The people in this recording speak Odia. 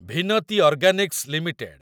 Vinati organics limited